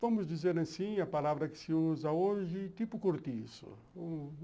Vamos dizer assim, a palavra que se usa hoje, tipo cortiço.